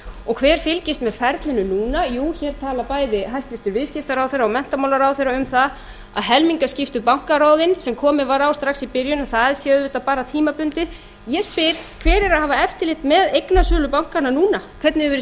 og hver fylgist með ferlinu núna jú þau tala bæði hæstvirtur viðskiptaráðherra og hæstvirtur menntamálaráðherra um það að helmingaskiptu bankaráðin sem komið á strax í byrjun um það séu auðvitað bara tímabundið ég spyr hverjir eiga að hafa eftirlit með eignasölu bankanna núna hvernig hefur verið